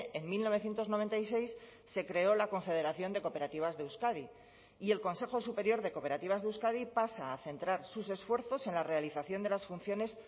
en mil novecientos noventa y seis se creó la confederación de cooperativas de euskadi y el consejo superior de cooperativas de euskadi pasa a centrar sus esfuerzos en la realización de las funciones